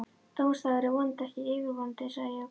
Dómsdagur er vonandi ekki yfirvofandi sagði Jakob.